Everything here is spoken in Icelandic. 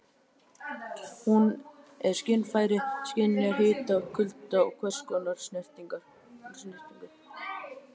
Hún er skynfæri- skynjar hita, kulda og hvers konar snertingu.